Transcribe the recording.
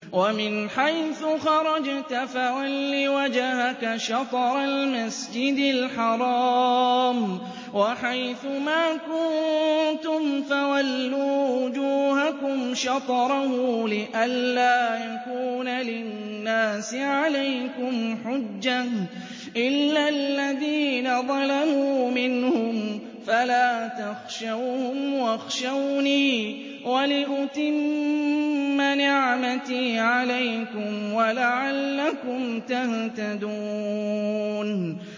وَمِنْ حَيْثُ خَرَجْتَ فَوَلِّ وَجْهَكَ شَطْرَ الْمَسْجِدِ الْحَرَامِ ۚ وَحَيْثُ مَا كُنتُمْ فَوَلُّوا وُجُوهَكُمْ شَطْرَهُ لِئَلَّا يَكُونَ لِلنَّاسِ عَلَيْكُمْ حُجَّةٌ إِلَّا الَّذِينَ ظَلَمُوا مِنْهُمْ فَلَا تَخْشَوْهُمْ وَاخْشَوْنِي وَلِأُتِمَّ نِعْمَتِي عَلَيْكُمْ وَلَعَلَّكُمْ تَهْتَدُونَ